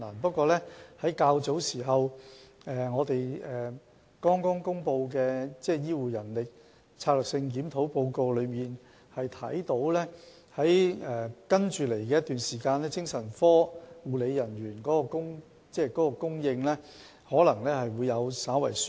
不過，從早前剛公布的"醫療人力規劃和專業發展策略檢討報告"可見，在接下來的一段時間，精神科護理人員的供應可能會稍為紓緩。